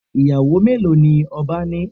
Iyawo melo ni oba ni?